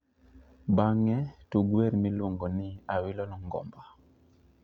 Bang'e, tug wer miluongo ni awilo longomba